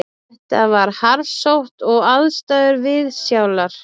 Þetta var harðsótt og aðstæður viðsjálar